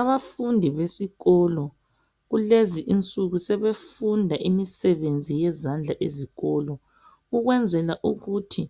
Abafundi besikolo kulezi insuku sebefunda imisebenzi yezandla ezikolo ukwenzela ukuthi